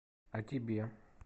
а тебе